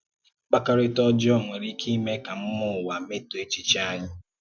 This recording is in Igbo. Mkpàkọ́rịtà òjọọ nwéré ikè imé ka mmúò ụ́wà mètòó èchìchè anyị